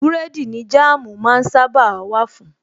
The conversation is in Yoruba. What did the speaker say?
Búrẹ́dì ni Jáàmú máa ń sábàa wà fun